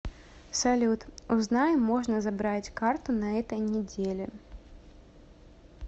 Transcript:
салют узнай можно забрать карту на этой неделе